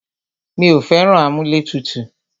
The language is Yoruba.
Mí ò fẹ́ràn amúlẹ̀tutù.